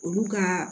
Olu ka